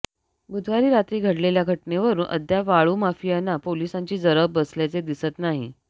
बुधवारी रात्री घडलेल्या घटनेवरून अद्याप वाळू माफियांना पोलिसांची जरब बसल्याचे दिसत नाही